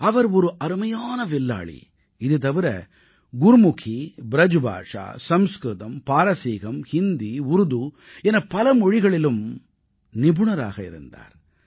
அவர் ஒரு அருமையான வில்லாளி இதுதவிர குருமுகீ ப்ரஜ்பாஷா சம்ஸ்க்ருதம் பாரசீகம் ஹிந்தி உருது எனப் பல மொழிகளிலும் நிபுணராக இருந்தார்